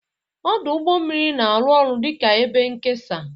Ọdụ ụgbọ mmiri na-arụ ọrụ dị ka ebe nkesa.